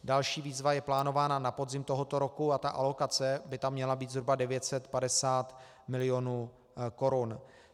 Další výzva je plánována na podzim tohoto roku a ta alokace by tam měla být zhruba 950 milionů korun.